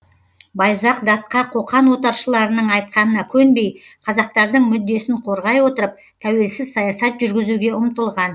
байзақ датқа қоқан отаршыларының айтқанына көнбей қазақтардың мүддесін қорғай отырып тәуелсіз саясат жүргізуге ұмтылған